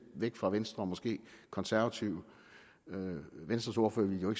væk fra venstre og måske konservative venstres ordfører ville jo